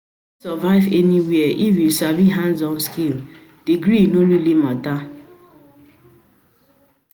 survive anywhere if you sabi hands-on skills, degree no really mata.